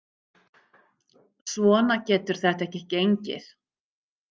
Svona getur þetta ekki gengið.